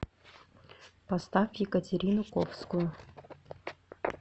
поставь екатерину ковскую